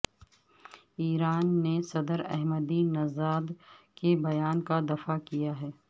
ایران نے صدر Ahmadinejad کے بیان کا دفاع کیا ہے